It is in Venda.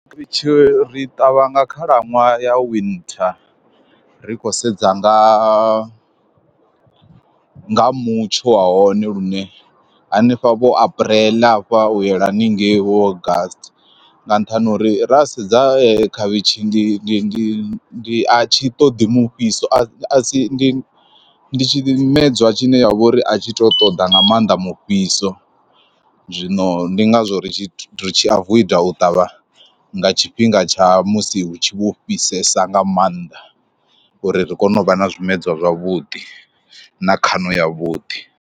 Ritshe ri ṱavha nga khalaṅwaha ya winter ri khou sedza nga nga mutsho wa hone lune hanefha vho apreḽe hafha u yela haningei wo august, nga nṱhani ha uri ra sedza khavhishi ndi ndi ndi ndi a tshi ṱoḓi mufhiso a si ndi tshimedzwa tshi ne ya vha uri a tshi to ṱoḓa nga maanḓa mufhiso, zwino ndi ngazwo ri tshi avoida u ṱavha nga tshifhinga tsha musi hu tshi vho fhisesa nga maanḓa uri ri kone u vha na zwimedzwa zwavhuḓi na khaṋo ya vhuḓi.